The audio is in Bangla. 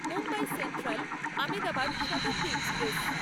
Mumbai central Ahmedabad Shatabdi express